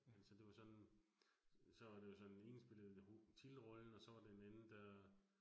Altså det var sådan, så det jo sådan, ene spillede titelrollen, og så var det en anden, der